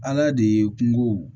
Ala de ye kungo